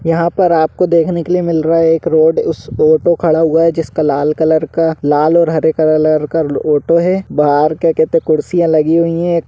यहाँ पार आप को देखने को लिए मिल रहा हैं एक रोड उस ऑटो खड़ा हुआ हैं जिस का लाल कलर का लाल और हारे कलर का ऑटो हैं बाहर क्या कहते कुर्सियाँ लगी हुई हैं।